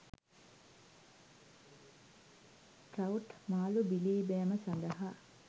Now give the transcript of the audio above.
trout මාළු බිලීබෑම සඳහා